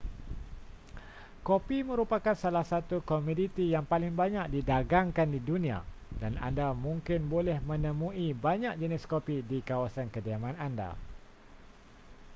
kopi merupakan salah satu komoditi yang paling banyak didagangkan di dunia dan anda mungkin boleh menemui banyak jenis kopi di kawasan kediaman anda